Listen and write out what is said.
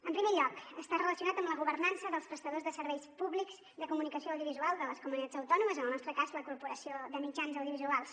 en primer lloc està relacionat amb la governança dels prestadors de serveis pú·blics de comunicació audiovisual de les comunitats autònomes en el nostre cas la corporació catalana de mitjans audiovisuals